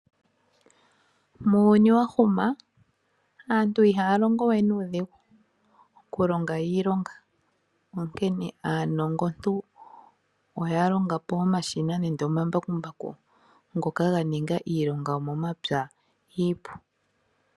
Muuyuni wa huma aantu ihaya longo we nuudhigu Oku longa iilonga onkene aanongontu oya longapo omashina nenge omambakumbaku ngoka ganinga iilonga yomomapya iipu.